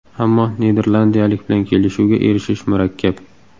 Ammo niderlandiyalik bilan kelishuvga erishish murakkab.